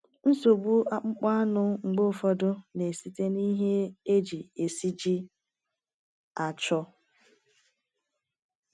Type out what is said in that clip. Nsogbu akpụkpọ anụ mgbe ụfọdụ na-esite na ihe eji esiji achọ.